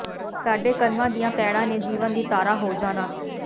ਸਾਡੇ ਕਰਮਾਂ ਦੀਆਂ ਪੈਡ਼ਾਂ ਨੇ ਜੀਵਨ ਦੀ ਧਾਰਾ ਹੋ ਜਾਣਾ